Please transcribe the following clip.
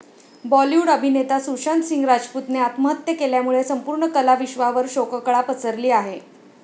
बॉलीवूड अभिनेता सुशांत सिंग राजपूतने आत्महत्या केल्यामुळे संपूर्ण कलाविश्वावर शोककळा पसरली आहे.